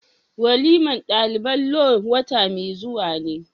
waliman dalibai law wata mai zuwa ne.